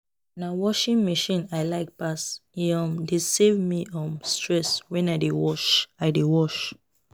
Na washing machine I like pass, e um dey save me um stress when I dey wash. I dey wash.